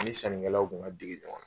ni sannikɛlaw kun ka dege ɲɔgɔn na.